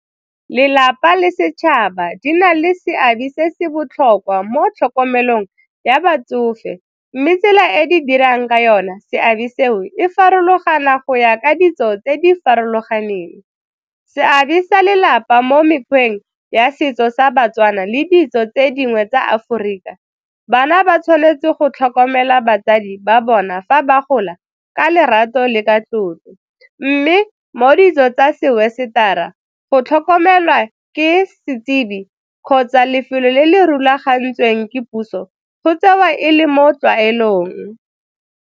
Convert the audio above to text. Lelapa le setšhaba di na le seabe se se botlhokwa mo tlhokomelong ya batsofe mme tsela e di dirang ka yona seabe seo e farologana go ya ka ditso tse di farologaneng. Seabe sa lelapa mo mekgweng ya setso sa baTswana le ditso tse dingwe tsa Aforika, bana ba tshwanetse go tlhokomela batsadi ba bona fa ba gola ka lerato le ka tlotlo mme mo ditso tsa se West-ara go tlhokomelwa ke setsebi kgotsa lefelo le le rulagantsweng ke puso go tsewa e le mo tlwaelong.